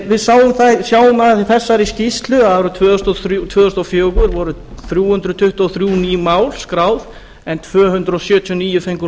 við sjáum í þegar skýrslu að árið tvö þúsund og fjögur voru þrjú hundruð tuttugu og þrjú ný mál skráð en tvö hundruð sjötíu og níu fengu